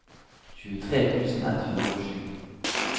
tjuetre tusen ett hundre og sju